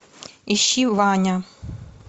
ищи ваня